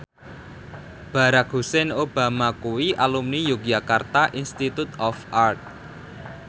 Barack Hussein Obama kuwi alumni Yogyakarta Institute of Art